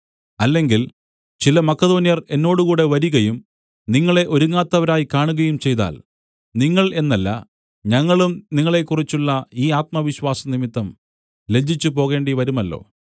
അല്ലെങ്കിൽ ചില മക്കെദോന്യർ എന്നോടുകൂടെ വരികയും നിങ്ങളെ ഒരുങ്ങാത്തവരായി കാണുകയും ചെയ്താൽ നിങ്ങൾ എന്നല്ല ഞങ്ങളും നിങ്ങളെക്കുറിച്ചുള്ള ഈ ആത്മവിശ്വാസം നിമിത്തം ലജ്ജിച്ചുപോകേണ്ടിവരുമല്ലോ